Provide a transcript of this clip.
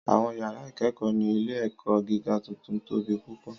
Àwọn yàrá ìkẹ́kọ̀ọ́ ní ilé-ẹ̀kọ́ gíga tuntun tóbi púpọ̀.